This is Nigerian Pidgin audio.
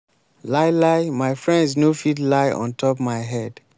lie lie my friends no fit lie ontop my head.